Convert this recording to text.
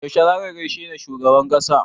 Yaushe za ka gaishe da shugaban ƙasa?